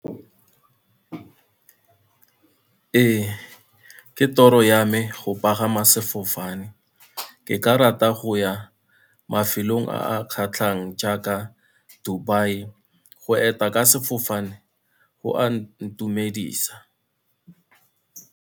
Ee, ke toro ya me go pagama sefofane. Ke ka rata go ya mafelong a kgatlhang jaaka Dubai, go eta ka sefofane go a intumedisa.